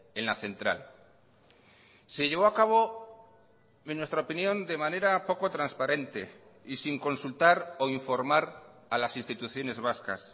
en la central se llevó a cabo en nuestra opinión de manera poco transparente y sin consultar o informar a las instituciones vascas